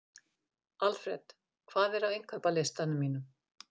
Alfred, hvað er á innkaupalistanum mínum?